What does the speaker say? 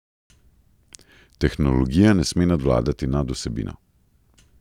Tehnologija ne sme nadvladati nad vsebino.